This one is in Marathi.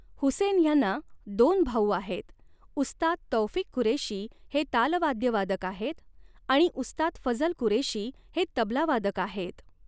हुसेन ह्यांना दोन भाऊ आहेत उस्ताद तौफिक कुरेशी हे तालवाद्यवादक आहेत आणि उस्ताद फझल कुरेशी हे तबला वादक आहेत.